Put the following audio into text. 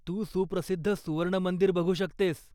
तू सुप्रसिद्ध सुवर्ण मंदिर बघू शकतेस.